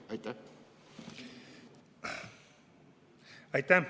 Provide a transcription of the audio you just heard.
Aitäh!